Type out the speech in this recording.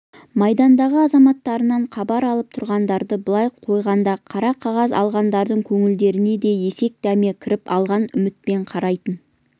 майдандағы азаматтарынан хабар алып тұрғандарды былай қойғанда қара қағаз алғандардың көңілдеріне де есек дәме кіріп алға үмітпен қарайтын